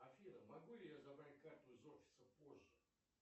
афина могу ли я забрать карту из офиса позже